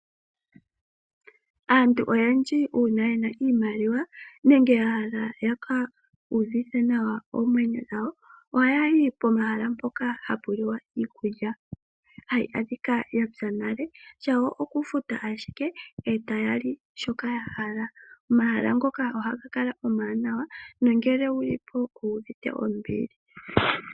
Aantu ngele yena oshimaliwa oha ya vulu okuya komahala ngoka omawaanawa naa kwanegumbo yawo opo ye ke luudhife nawa.